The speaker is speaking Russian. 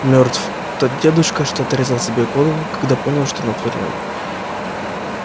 мёртв тот дедушка что отрезал себе голову когда понял что натворил